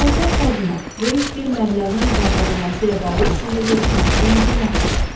Əlahəzrət kardinal, böyük bir məbləğin qaytarılması ilə bağlı sizinlə görüşmək istəyən bir nəfər var.